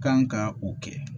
Kan ka o kɛ